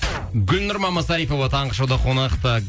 гүлнұр мамасарипова таңғы шоуда қонақта